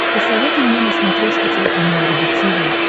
посоветуй мне на смотрешке телеканал рубль ти ви